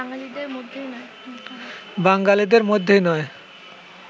বাঙালিদের মধ্যেই নয়